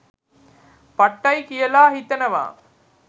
පට්ටයි කියලා හිතෙනවා